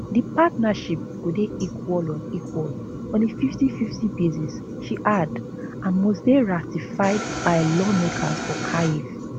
di partnership go dey equal on equal on a 5050 basis she add and must dey ratified by lawmakers for kyiv